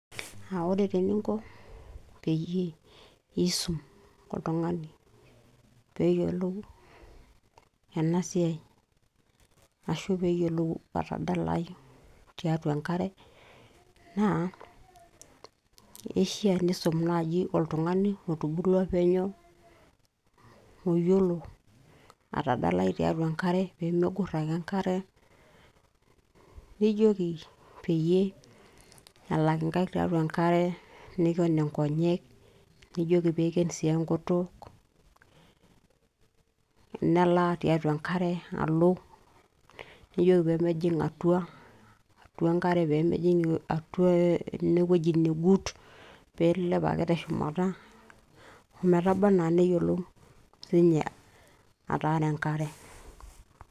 aa ore taa eninko piisum oltung'ani peyie eyiolou ena siai ashu peeyiolou atadalai tiatua enkare naa keishia niisum naaji oltung'ani otubulua penyo oyiolo atadalai tiatua enkare peyie megorr ake enkare nijoki peyie elak inkaik tiatua enkare niken inkonyek nijoki piiken sii enkutuk nelaa tiatua enkare alo nijoki peemejing atua, atua enkare peemejing atua enewueji negut piilep ake teshumata ometaba anaa neyiolou sinye ataara enkare.